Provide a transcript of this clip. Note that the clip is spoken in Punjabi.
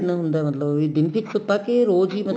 ਪਿੰਡ ਹੁੰਦਾ ਮਤਲਬ ਵੀ ਦਿਨ ਚ ਇੱਕ ਪਾਸੇ ਰੋਜ ਹੀ ਮਤਲਬ